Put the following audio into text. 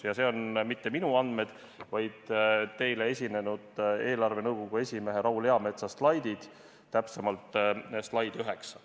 Ja need pole mitte minu andmed, vaid teile esinenud eelarvenõukogu esimehe Raul Eametsa slaidid, täpsemalt slaid 9.